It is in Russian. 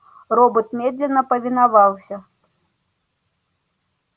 робот медленно повиновался